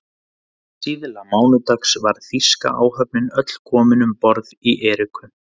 Síðla mánudags var þýska áhöfnin öll komin um borð í Eriku